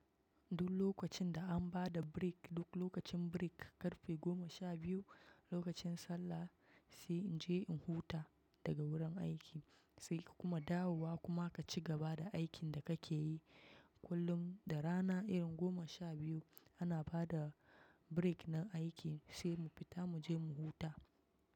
Duk lokacin da an ba da break, duk lokacin break, karfe goma sha biyu, lokacin sallah sai in je in huta, daga wurin aiki, sai kuma dawowa kuma ka cigaba da aikin da ka ke yi. Kullum da rana irin goma sha biyu, ana ba da break na aiki sai mu fita mu je mu huta.